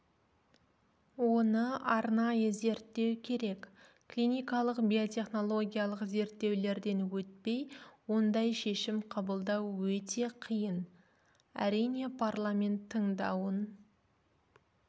оны арнайы зерттеу керек клиникалық биотехнологиялық зерттеулерден өтпей ондай шешім қабылдау өте қиын әрине парламент тыңдауын